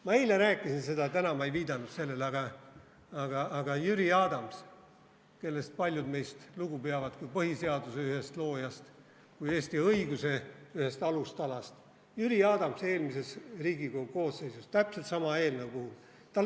Ma eile rääkisin seda, täna ma ei viidanud sellele, aga Jüri Adams, kellest paljud meist lugu peavad kui põhiseaduse ühest loojast, kui Eesti õiguse ühest alustalast, oli eelmises Riigikogu koosseisus täpselt sama eelnõu poolt.